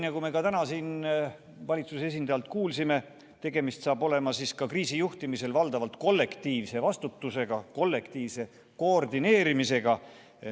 Nagu me ka täna siin valitsuse esindajalt kuulsime, tegemist saab olema ka kriisijuhtimisel valdavalt kollektiivse vastutusega, kollektiivse koordineerimisega.